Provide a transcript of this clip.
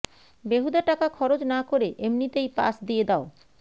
বেহুদা টাকা খরচ না করে এমনিতেই পাশ দিয়ে দাও